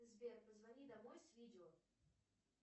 сбер позвони домой с видео